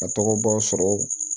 A tɔgɔ baw sɔrɔ